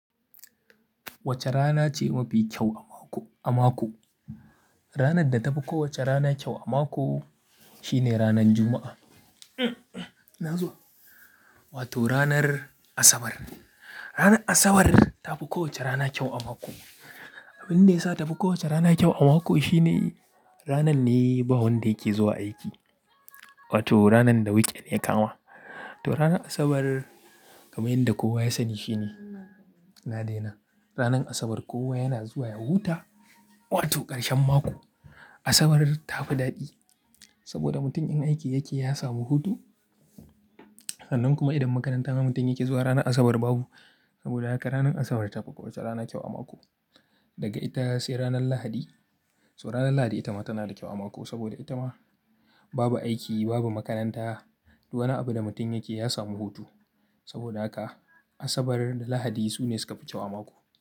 Wace rana ce mafi kyau a mako, a mako? Ranar da ta fi kowace rana kyau a mako shi ne ranar Juma'a. Na zo? Wato ranar Asabar. Ranar Asabar ta fi kowace rana kyau a mako. Abin da ya sa ta fi kowace rana kyau a mako shi ne ranar ne ba wanda yake zuwa aiki. Wato ranar da weekend ya kama. To ranar Asabar kamar yadda kowa ya sani shi ne na daina. Ranar Asabar kowa yana zuwa ya huta, wato ƙarshen mako. Asabar ta fi daɗi saboda mutum in aiki yake ya samu hutu. Sannan kuma idan makaranta ma mutum yake zuwa ranar Asabar babu. Saboda haka ranar Asabar ta fi kowace rana kyau a mako. Daga ita sai ranar Lahadi. So ranar Lahadi ita ma tana da kyau a mako saboda ita ma babu aiki, babu makaranta, duk wani abu da mutum yake ya samu hutu. Saboda haka Asabar da Lahadi su ne suka fi kyau a mako.